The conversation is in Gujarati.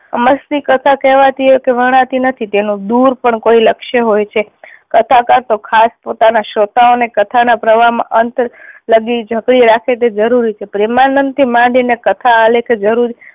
અમસ્તી કથા કહેવાતી કે વરણાતી નથી તેનું દૂર પણ કોઈ લક્ષ્ય હોય છે. કથાકાર તો ખાસ પોતાના શ્રોતાઓ ને કથા ના પ્રવાહ માં અંત લગી જકડી રાખે તે જરૂરી છ. પ્રેમાનંદ થી માંડી ને કથા આલેખ જરૂરી